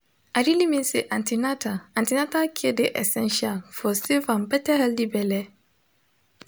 i really mean say an ten atal an ten atal care de essential for safe and better healthy belle